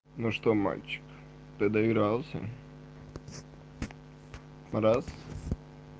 ну что мальчик ты доигрался раз